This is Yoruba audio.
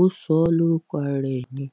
ọ ṣọ ọ lórúkọ ara ẹ ni